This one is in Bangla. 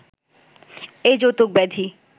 এ যৌতুক ব্যাধি